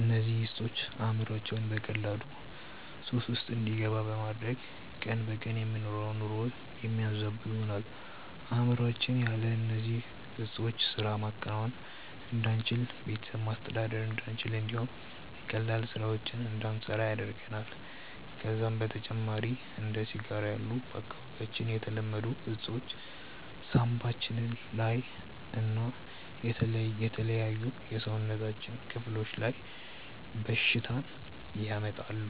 እነዚህ እፆች አእምሮአችንን በቀላሉ ሱስ ውስጥ እንዲገባ በማድረግ ቀን በቀን የምንኖረውን ኑሮ የሚያዛቡ ይሆናሉ። አእምሮአችን ያለ እነዚህ ዕጾች ስራ ማከናወን እንዳንችል፣ ቤተሰብ ማስተዳደር እንዳንችል እንዲሁም ቀላል ስራዎችን እንዳንሰራ ያደርገናል። ከዛም በተጨማሪ እንደ ሲጋራ ያሉ በአካባቢያችን የተለመዱ እፆች ሳንባችን ላይ እና የተለያዩ የሰውነታችን ክፍሎች ላይ በሽታን ያመጣሉ።